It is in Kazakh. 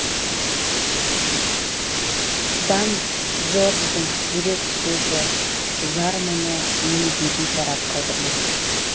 дан джордждың жүрек сөзі зар мұңы мені де бейтарап қалдырмады